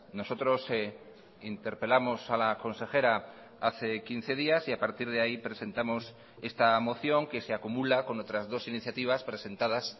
nosotros interpelamos a la consejera hace quince días y a partir de ahí presentamos esta moción que se acumula con otras dos iniciativas presentadas